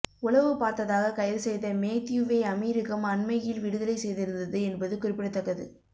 உளவு பார்த்ததாக கைது செய்த மேத்யூவை அமீரகம் அண்மையில் விடுதலை செய்திருந்தது என்பது குறிப்பிடத்தக்கது